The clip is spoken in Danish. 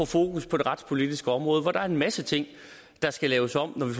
fokus på det retspolitiske område hvor der er en masse ting der skal laves om når vi